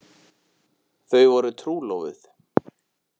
Þau voru trúlofuð.